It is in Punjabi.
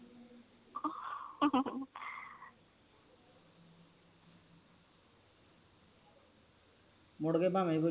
ਮੁੜ ਕ ਭਾਵੇ ਕੋਈ